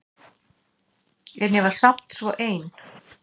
En ég var samt svo ein.